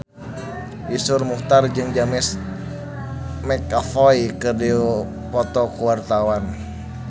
Iszur Muchtar jeung James McAvoy keur dipoto ku wartawan